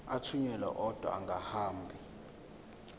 athunyelwa odwa angahambi